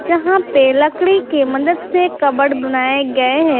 यहां पे लकड़ी के मदद से कबड बनाए गए हैं।